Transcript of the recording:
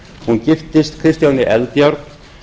hún giftist kristjáni eldjárn